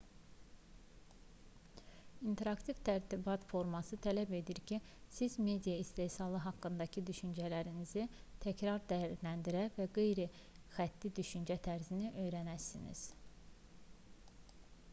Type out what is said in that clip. i̇nteraktiv tərtibat forması tələb edir ki siz media istehsalı haqqındakı düşüncələrinizi təkrar dəyərləndirə və qeyri-xətti düşüncə tərzini öyrənəsiniz